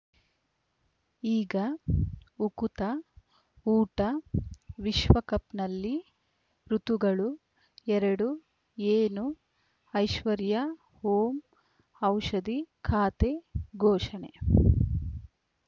ಈಗ ಉಕುತ ಊಟ ವಿಶ್ವಕಪ್‌ನಲ್ಲಿ ಋತುಗಳು ಎರಡು ಏನು ಐಶ್ವರ್ಯಾ ಓಂ ಔಷಧಿ ಖಾತೆ ಘೋಷಣೆ